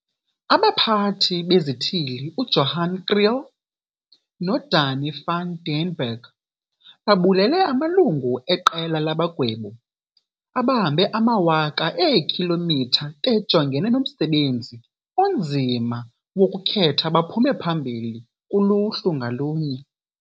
AbaPhathi beziThili uJohan Kriel noDanie van den Berg babulele amalungu eQela labaGwebi abahambe amawaka eekhilomitha bejongene nomsebenzi onzima wokukhetha abaphume phambili kuluhlu ngalunye.